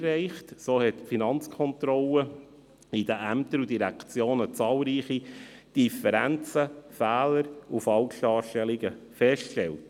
So stellte die Finanzkontrolle in den Ämtern und Direktionen zahlreiche Differenzen, Fehler und Falschdarstellungen fest.